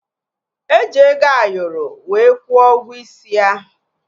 Eji ego Ayoro wee kwuo ụgwọ isi ya